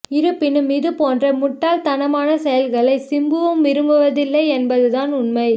இருப்பினும் இது போன்ற முட்டாள் தனமான செய்லகளை சிம்புவும் விரும்புவதில்லை என்பது தான் உண்மை